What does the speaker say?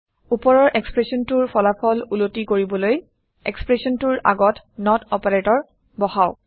উপৰৰ এক্সপ্ৰেচনটোৰ ফলাফল উলটি কৰিবলৈ এক্সপ্ৰেচনটোৰ আগত নত অপাৰেটৰ বহাওঁক